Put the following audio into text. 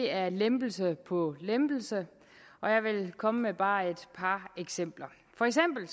er lempelse på lempelse og jeg vil komme med bare et par eksempler for eksempel